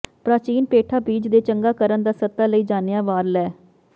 ਪ੍ਰਾਚੀਨ ਪੇਠਾ ਬੀਜ ਦੇ ਚੰਗਾ ਕਰਨ ਦਾ ਸੱਤਾ ਲਈ ਜਾਣਿਆ ਵਾਰ ਲੈ